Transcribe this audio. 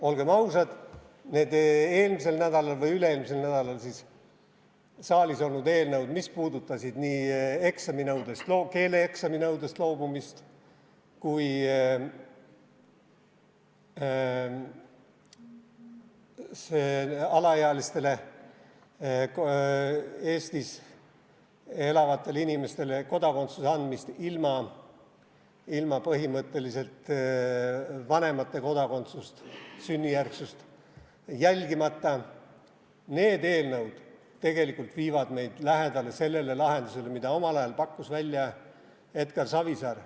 Olgem ausad, need üle-eelmisel nädalal saalis olnud eelnõud, mis puudutasid nii keeleeksami nõudest loobumist kui ka alaealistele Eestis elavatele inimestele vanemate kodakondsuse sünnijärgsust jälgimata kodakondsuse andmist, need eelnõud viivad meid tegelikult lähedale sellele lahendusele, mille pakkus omal ajal välja Edgar Savisaar.